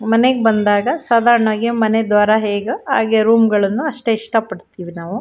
ಮನೆಗೆ ಬಂದಾಗ ಸಾದಾರಣವಾಗಿ ಮನೆ ದ್ವಾರ ಹೇಗೊ ಹಾಗೆ ರೂಮ್ ಗಳನ್ನು ಅಷ್ಟೆ ಇಷ್ಟ ಪಡ್ತೀವಿ ನಾವು.